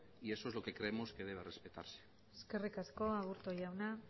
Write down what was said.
y esto es lo que creemos que debe respetarse eskerri asko aburto jauna